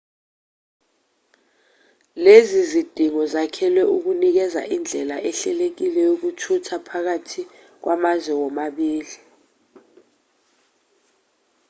lezi zidingo zakhelwe ukunikeza indlela ehlelekile yokuthutha phakathi kwamazwe womabili